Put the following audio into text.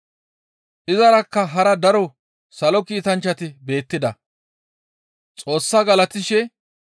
Izarakka hara daro salo kiitanchchati beettida. Xoossa galatishe,